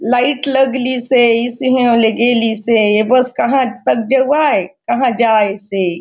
लाइट लागलिसे इसी ऐव ले गेलिसे ए बस क कहा तक जाउआय कहा तक जायसे।